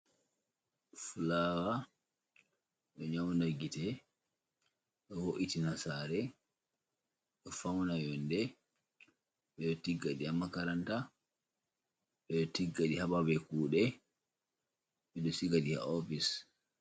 Flawa ɗo nyaunda gite, ɗo wo’iti na saare, ɗo fauna yonde, ɓeɗo tiggaɗi ha makaranta, ɓeɗo tiggaɗi ha babe kude, ɓeɗo siga ɗi ha ofice.